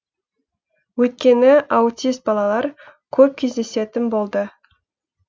өйткені аутист балалар көп кездесетін болды